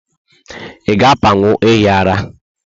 Ịga apanwu ehi ara?